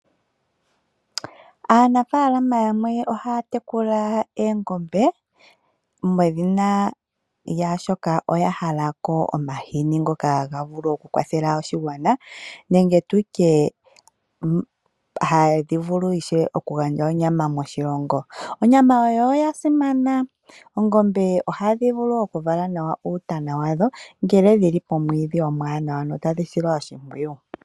Aanafaalama yamwe ohaa tekula oongombe oshoka oya hala omahini ngoka haga kwathele oshigwana. Ohadhi gandja wo onyama moshilongo ndjoka ya simana. Oongombe ohadhi vulu okuvala nawa uutana wadho ngele dhi li pomwiidhi omwaanawa tadhi silwa oshimpwiyu.